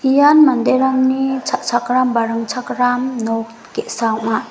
ian manderangni cha·chakram ba ringchakram nok ge·sa ong·a.